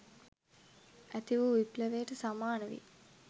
ඇති වූ විප්ලවයට සමාන වෙයි